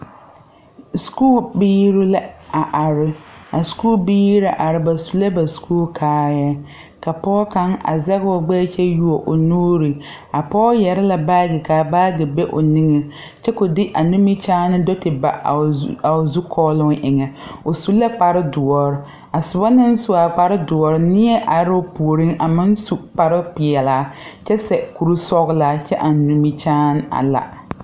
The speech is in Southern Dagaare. Skuu biire la a are a skuu biire na are ba su la ba skuu kaayaa ka pɔɔ kaŋ a zegoo o gbɛɛvkyɛ wuo o nuure a pɔɔ yɛre la baagyi kaa baagyi be o neŋeŋ kyɛ ko de a nimikyaane do te ba a o Zukɔɔloŋ eŋɛ o su la kpare doɔre a soba naŋ su aa kpare doɔre nie aroo puoriŋ a meŋ sukparoo peɛɛlaa kyɛ seɛ kueisɔglaa kyɛ eŋ nimikyaane a la.